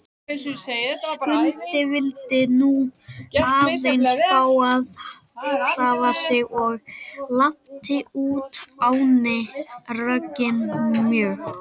Skundi vildi nú aðeins fá að hreyfa sig og lapti úr ánni, rogginn mjög.